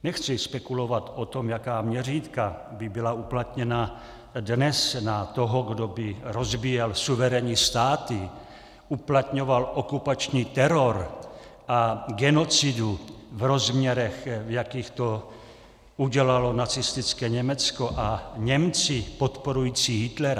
Nechci spekulovat o tom, jaká měřítka by byla uplatněna dnes na toho, kdo by rozbíjel suverénní státy, uplatňoval okupační teror a genocidu v rozměrech, v jakých to udělalo nacistické Německo a Němci podporující Hitlera.